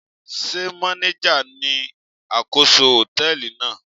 Sé manager ni àkóso hòtẹ́ẹ̀lì náà?